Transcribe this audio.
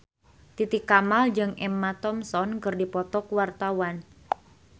Titi Kamal jeung Emma Thompson keur dipoto ku wartawan